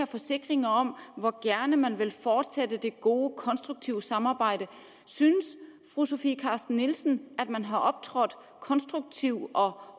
forsikringer om hvor gerne man vil fortsætte det gode og konstruktive samarbejde synes fru sofie carsten nielsen at man har optrådt konstruktivt og